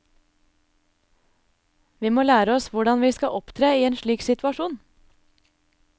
Vi må lære oss hvordan vi skal opptre i en slik situasjon.